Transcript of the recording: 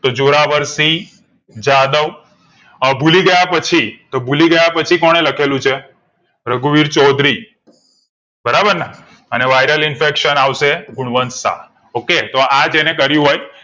તો જોરાવરસી જાદવ અ ભુલીગયા પછી તો ભુલીગયા પછી કોણે લખેલું છે રઘુવીર ચૌઉધરી બરાબરને ને viral infection આવશે ગુણવંત શાહ okay તો આજે ને કરિયું હોય